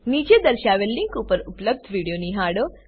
નીચે દર્શાવેલ લીંક પર ઉપલબ્ધ વિડીયો નિહાળો